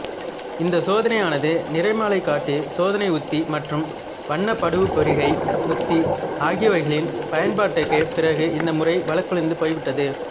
இந்தச் சோதனையானது நிறமாலைகாட்டிச் சோதனை உத்தி மற்றும் வண்ணப்படுவுப்பிரிகை உத்தி ஆகியவைகளின் பயன்பாட்டுக்குப் பிறகு இந்த முறை வழக்கொழிந்து போய்விட்டது